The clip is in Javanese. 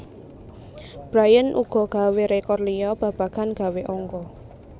Bryant uga gawé rékor liya babagan gawé angka